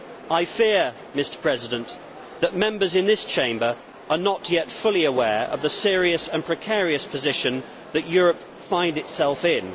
I fear that Members in this Chamber are not yet fully aware of the serious and precarious position that Europe finds itself in.